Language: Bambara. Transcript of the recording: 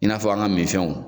I n'a fɔ an ka mifɛnw.